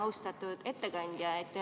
Austatud ettekandja!